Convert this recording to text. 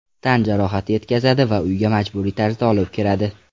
Tan jarohati yetkazadi va uyga majburiy tarzda olib kiradi.